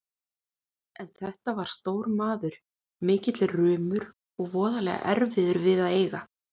En þetta var stór maður, mikill rumur og voðalega erfiður við að eiga.